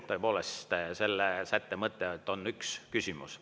Tõepoolest, selle sätte mõte ongi see, et üks küsimus.